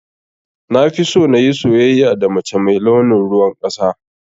Nafiso nayi soyayya da mace mai launin ruwan ƙasa.